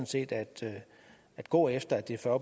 set at gå efter at det er fyrre